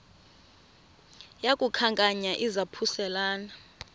yaku khankanya izaphuselana